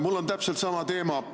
Mul on täpselt sama teema.